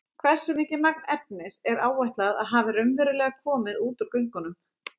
Hversu mikið magn efnis er áætlað að hafi raunverulega komið út úr göngunum?